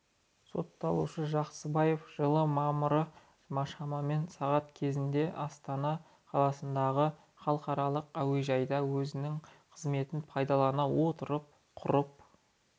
сотталушы жақсыбаев жылы мамырда шамамен сағат кезінде астана қаласындағы халықаралық әуежайда өзінің қызметін пайдалана отырып құрып